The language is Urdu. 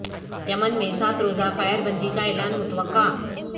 یمن میں سات روزہ فائر بندی کا اعلان متوقع